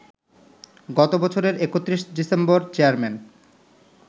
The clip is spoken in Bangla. গত বছরের ৩১ ডিসেম্বর চেয়ারম্যান